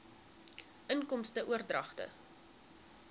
inkomste oordragte